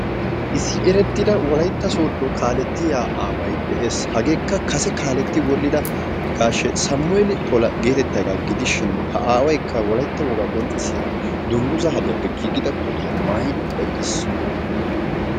Issi erettida wolaytta sooddo kaalettiya aaway de'es. Hageekka kase kaaletti wodhdhida gashshi Sammuel Pola geetettiyagaa gidishin ha aawaykka wolaytta wogaa qonccissiya dungguzza hadiyappe giigida kootiya maayidi eqqiis.